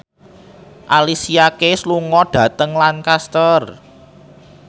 Alicia Keys lunga dhateng Lancaster